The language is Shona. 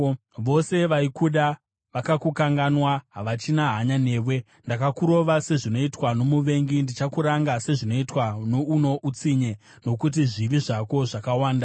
Vose vaikuda vakakukanganwa; havachina hanya newe. Ndakakurova sezvinoitwa nomuvengi ndikakuranga sezvinoitwa neano utsinye nokuti mhosva yako ihuru uye zvivi zvako zvakawanda.